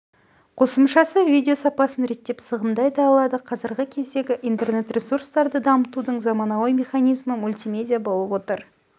қосымшасы видео сапасын реттеп сығымдай да алады қазіргі кездегі интернет-ресурстарды дамытудың заманауи механизмі мультимедиа болып отыр